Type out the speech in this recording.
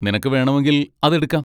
നിനക്ക് വേണമെങ്കിൽ അത് എടുക്കാം.